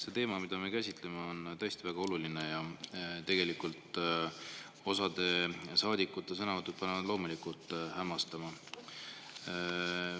See teema, mida me käsitleme, on tõesti väga oluline ja tegelikult osa saadikute sõnavõtud panevad hämmastuma.